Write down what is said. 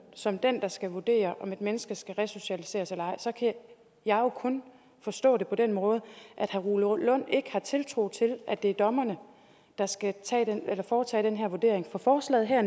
som den der skal vurdere om et menneske skal resocialiseres eller ej så kan jeg jo kun forstå det på den måde at herre rune lund ikke har tiltro til at det er dommerne der skal foretage den her vurdering for forslaget her